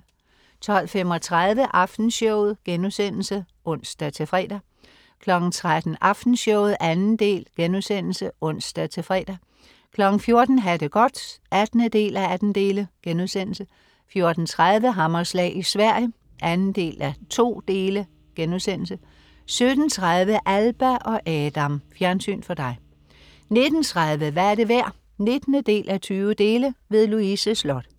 12.35 Aftenshowet* (ons-fre) 13.00 Aftenshowet 2. del* (ons-fre) 14.00 Ha' det godt 18:18* 14.30 Hammerslag i Sverige 2:2* 17.30 Alba og Adam. Fjernsyn for dig 19.30 Hvad er det værd? 19:20. Louise Sloth